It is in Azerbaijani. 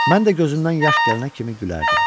Mən də gözümdən yaş gələnə kimi gülərdim.